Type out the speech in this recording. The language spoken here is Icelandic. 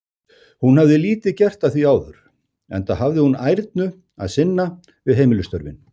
Hún hafði lítið gert að því áður, enda hafði hún ærnu að sinna við heimilisstörfin.